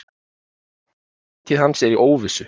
Framtíð hans er í óvissu.